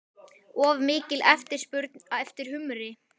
Og mikil eftirspurn eftir humri?